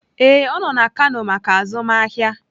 Ee, ọ nọ na kano maka azụmahịa